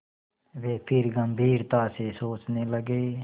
वे फिर गम्भीरता से सोचने लगे